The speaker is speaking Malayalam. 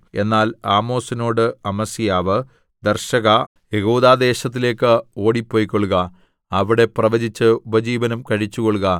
എന്നാൽ ആമോസിനോട് അമസ്യാവ് ദർശകാ യെഹൂദാദേശത്തിലേക്ക് ഓടിപ്പൊയ്ക്കൊള്ളുക അവിടെ പ്രവചിച്ച് ഉപജീവനം കഴിച്ചുകൊള്ളുക